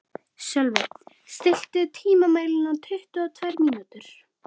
Sölvi, stilltu tímamælinn á tuttugu og tvær mínútur.